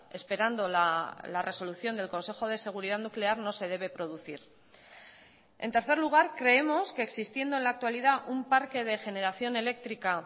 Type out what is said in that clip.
esperando la resolución del consejo de seguridad nuclear no se debe producir en tercer lugar creemos que existiendo en la actualidad un parque de generación eléctrica